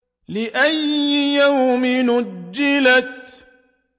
لِأَيِّ يَوْمٍ أُجِّلَتْ